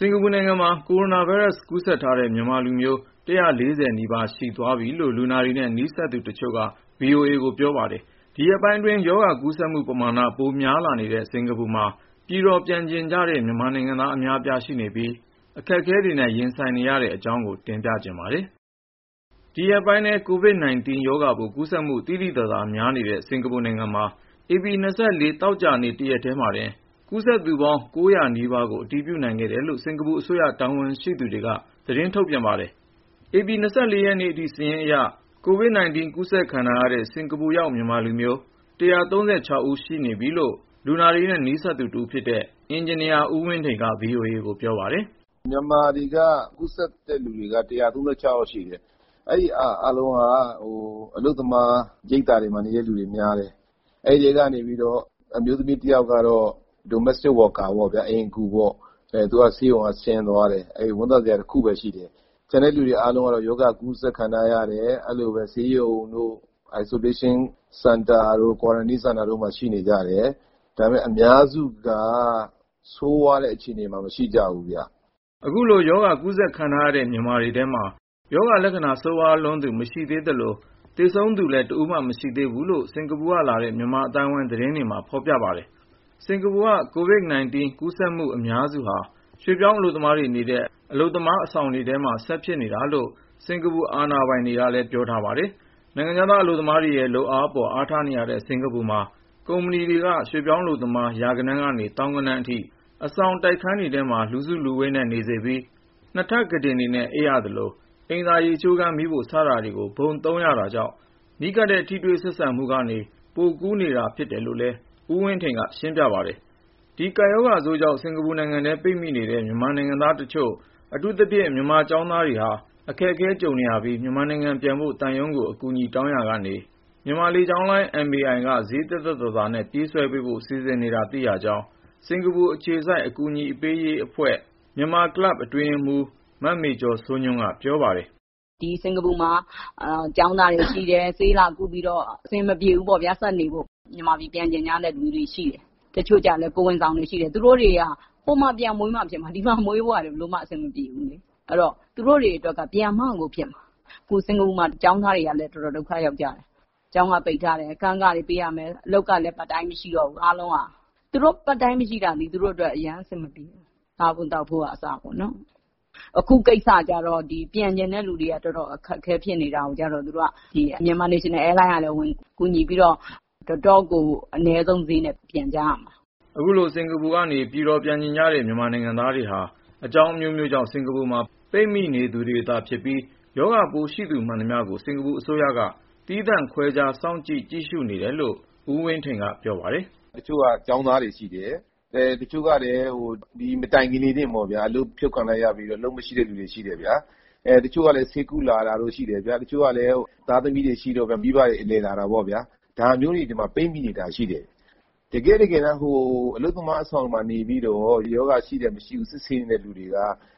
စင်္ကာပူနိုင်ငံမှာ ကိုရိုနာဗိုင်းရပ်စ် ကူးစက်ထားတဲ့ မြန်မာလူမျိုး (၁၄၀)နီးပါး ရှိသွားပြီလို့ လူနာတွေနဲ့ နီးစပ်သူတချို့က VOA ကို ပြောပါတယ်။ ဒီရက်ပိုင်းအတွင်း ရောဂါကူးစက်မှုပမာဏ ပိုများလာနေတဲ့ စင်္ကာပူမှာ ပြည်တော် ပြန်ချင်ကြတဲ့ မြန်မာနိုင်ငံသား အများအပြားရှိနေပြီး အခက်အခဲတွေနဲ့ ရင်ဆိုင် နေရတဲ့ အကြောင်းကို ကိုဉာဏ်ဝင်းအောင် တင်ပြထားပါတယ်။ ဒီရက်ပိုင်းထဲ COVID-19 ရောဂါပိုး ကူးစက်မှု သိသိသာသာ များနေတဲ့ စင်္ကာပူနိုင်ငံမှာ ဧပြီ ၂၄သောကြာနေ့ တရက်ထဲမှာတင် ကူးစက်သူပေါင်း (၉၀၀) နီးပါးကို အတည်ပြုနိုင်ခဲ့တယ်လို့ စင်္ကာပူအစိုးရ တာဝန်ရှိသူတွေက သတင်းထုတ်ပြန်ပါတယ်။ ဧပြီ(၂၄)ရက်နေ့အထိ စာရင်းအရ COVID-19 ကူးစက်ခံထားရတဲ့ စင်္ကာပူရောက် မြန်မာလူမျိုး (၁၃၆) ယောက်ရှိနေပြီလို့ လူနာတွေနဲ့ နီးစပ်သူတဦးဖြစ်တဲ့ အင်ဂျင်နီယာ ဦးဝင်းထိန်က VOA ကို ပြောပါတယ်။ “မြန်မာထဲက ကူးစက်တဲ့လူ ၁၃၆ ယောက် ရှိနေပြီ၊ အဲဒီလူတွေ အားလုံးက အလုပ်သမား ရိပ်သာမှာနေတာ များတယ်။ အဲဒီထဲကတော့ အမျိုးသမီးတယောက်ကတော့ Domestic worker အိမ်အကူ ပေါ့ဗျာ ။ သူကတော့ ဆေးရုံက ဆင်းသွားပြီ အဲဒါ ဝမ်းသာစရာတခုပဲ ရှိတယ်။ကျန်တဲ့သူတွေ ကတော့ ရောဂါကူးစက်ခံထားရတယ် အဲလိုပဲ ဆေးရုံတို့ Isolation center တို့ quarantine center တို့ မှာ ရှိနေကြတယ်။ ဒါပေမယ့် အများစုကတော့ ဆိုးဝါးတဲ့ အခြေအနေမှာ မရှိကြဘူးဗျ။” အခုလို ရောဂါကူးစက်ခံထားရတဲ့ မြန်မာတွေထဲမှာ ရောဂါလက္ခဏာ ဆိုးဝါးလွန်းသူ မရှိသေးသလို၊ သေဆုံးသူလည်း တဦးမှ မရှိသေးဘူးလို့ စင်္ကာပူကလာတဲ့ မြန်မာအသိုင်းအဝိုင်း သတင်းတွေမှာ ဖေါ်ပြပါတယ်။ စင်္ကာပူက COVID -19 ကူးစက်မှု အများစုဟာ ရွှေ့ပြောင်းအလုပ်သမားတွေ နေတဲ့ အလုပ်သမား အဆောင်တွေထဲမှာပဲ ဆက်ဖြစ်နေတာလို့ စင်္ကာပူ အာဏာပိုင်တွေကလည်း ပြောထားပါတယ်။ နိုင်ငံခြားသား အလုပ်သမားတွေရဲ့လုပ်အားအပေါ် အားထားနေရတဲ့ စင်္ကာပူမှာ ကုမ္ပဏီတွေက ရွှေ့ပြောင်းအလုပ်သမား ရာဂဏန်းကနေ သောင်းဂဏန်းအထိ အဆောင်တိုက်ခန်းတွေထဲမှာ လူစုလူဝေးနဲ့ နေ စေပြီး နှစ်ထပ်ကုတင်တွေနဲ့ အိပ်ရသလို၊ အိမ်သာ ရေချိုးခန်း မီးဖို စတာကို ဘုံသုံးရတာကြောင့် နီးကပ်တဲ့ ထိတွေ့ဆက်ဆံမှုတွေက နေ ပိုကူးနေတာဖြစ်တယ်လို့လည်း ဦးဝင်းထိန်က ရှင်းပြပါတယ်။ ဒီကပ်ရောဂါဆိုးကြောင့် စင်္ကာပူနိုင်ငံထဲ ပိတ်မိနေတဲ့ မြန်မာနိုင်ငံသားတချို့ အထူးသဖြင့် မြန်မာကျောင်းသားတွေဟာ အခက်အခဲကြုံနေရပြီး မြန်မာနိုင်ငံပြန်ဖို့ သံရုံးကို အကူအညီ တောင်းရာကနေ မြန်မာလေကြောင်းလိုင်း MAI က ဈေးသက်သက်သာသာ နဲ့ ပြေးဆွဲပေးဖို့ စီစဉ်နေတာ သိရကြောင်း စင်္ကာပူအခြေစိုက် အကူညီပေးရေးအဖွဲ့ Myanmar Club အတွင်းရေးမှူး မမေကျော်စိုးညွန့်က ပြောပါတယ်။ “ဒီ စင်္ကာပူ မှာ ကျောင်းသားတွေ ရှိတယ် ဆေးလာကုပြီးတော့ အဆင်မပြေဘူးပေါ့ ဒီမှာ ဆက်နေဖို့၊ မြန်မာပြည်ပြန်ချင်တဲ့ လူတွေရှိတယ်။ တချို့လည်း ကိုယ်ဝန်သည်တွေ ရှိတယ်။ သူတို့တွေက ဟိုမှာ ပြန်မွေးမှ ဖြစ်မှာ ဒီမှာ မွေးဖို့က ဘယ်လိုမှ အဆင်မပြေဘူး အဲဒီတော့ သူတို့တွေအတွက်က ပြန်မှ ကိုဖြစ်မှာ ။အခု စင်္ကာပူ မှာ ကျောင်းသားတွေကလည်း တော်တော်ဒုက္ခရောက်ကျတယ်။ ကျောင်းက ပိတ်ထားတယ်၊ အခန်းခတွေ ပေးရမယ် အလုပ်ကလည်း part time မရှိတော့ဘူး။ သူတို့ part time မရှိတာက သူတို့အတွက် အရမ်းအဆင်မပြေဘူး။ စားဖို့သောက်ဖို့အစ ပေါ့နော် ။ အခုကိစ္စကျတော့ ပြန်ချင်တဲ့သူတွေ တော်တော်အခက်အခဲဖြစ်နေတာကို Myanmar National airline ကလည်း ကူညီပြီးတော့ တော်တော့်ကို အနည်းဆုံးဈေးနဲ့ ပြန်ကြရမှာ။” အခုလို စင်္ကာပူကနေ ပြည်တော် ပြန်ချင်တယ်ဆိုတဲ့ မြန်မာနိုင်ငံသားတွေဟာ အကြောင်း အမျိုးမျိုးကြောင့် စင်္ကာပူမှာ ပိတ်မိ နေသူတွေသာ ဖြစ်ပြီး၊ ရောဂါပိုးရှိသူ မှန်သမျှကို စင်္ကာပူအစိုးရက သီးသန့်ခွဲခြား စောင့်ကြပ် ကြည့်ရှုနေတယ်လို့ ဦးဝင်းထိန်က ပြောပါတယ်။ “ တချို့က ကျောင်းသားတွေရှိတယ်။ တချို့ကလည်း ဒီမတိုင်ခင်လေးတင်ပေါ့ဗျာ အလုပ်ဖြုတ်ခံလိုက်ရပြီးတော့ အလုပ်မရှိတဲ့သူတွေ ရှိတယ်။ တချို့ကလည်း ဆေးကုလာတာတို့ ရှိတယ်။ တချို့ကလည်း သားသမီးတွေ ရှိတော့ မိဘတွေ အလည်လာတာပေါ့ဗျာ။ ဒါမျိုးတွေ ဒီမှာ ပိတ်မိနေတာရှိတယ်။ တကယ့်တကယ် အလုပ်သမား အဆောင်မှာ နေပြီးတော့ ရောဂါရှိတယ်၊ မရှိဘူး စစ်ဆေးနေသူတွေက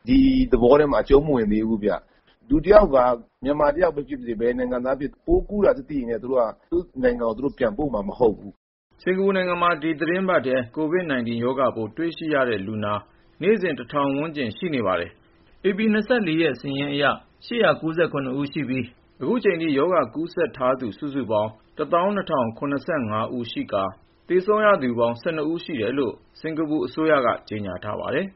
ဒီ သဘောထဲမှာ အကျုံးမဝင်သေးဘူးဗျ။ လူတယောက်က မြန်မာတယောက်ပဲ ဖြစ်ပါစေ၊ ဘယ်နိုင်ငံကပဲ ဖြစ်ဖြစ် ပိုးကူူးတာသိရင် သူတို့နိုင်ငံကို ပြန်ပို့မှာမဟုတ်ဘူး။” စင်္ကာပူနိုင်ငံမှာ ဒီသီတင်းပတ်ထဲ COVID-19 ရောဂါပိုး တွေ့ရှိရတဲ့လူနာ နေ့စဉ် (၁၀၀၀) ဝန်းကျင်ရှိပါတယ်။ ဧပြီ (၂၄) ရက်စာရင်းအရ (၈၉၇)ဦးရှိပြီး အခုချိန်ထိ ရောဂါကူးစက်ထားသူ စုစုပေါင်း (၁၂၀၇၅) ယောက်ရှိကာ သေဆုံးရသူပေါင်း (၁၂)ဦး ရှိတယ်လို့ စင်္ကာပူအစိုးရ က ကြေညာထားပါတယ်